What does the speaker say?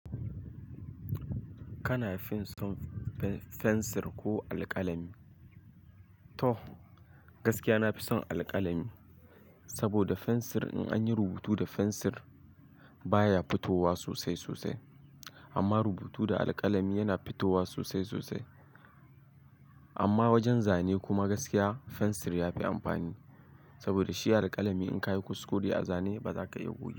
Kana fison fensir ko alƙalami? To gaskiya nafi son alƙalami, saboda fensir in anyi rubutu da fensir baya fitowa sosai sosai. Amma rubutu da alƙalami yana fitowa sosai sosai. Amma wajen zane kuma gaskiya fensir yafi amfani. Saboda shi da alƙalami in kayi kuskure a zane baza ka iya gogewaba.